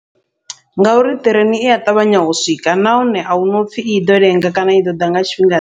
Ngauri ṱireni ia ṱavhanya u swika, nahone ahuna upfhi iḓo lenga kana i ḓoḓa nga tshifhinga ḓe.